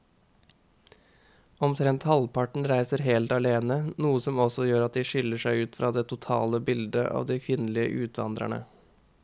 Omtrent halvparten reiser helt alene, noe som også gjør at de skiller seg ut fra det totale bildet av de kvinnelige utvandrerne.